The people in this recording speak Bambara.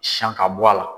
Siyan ka bɔ a la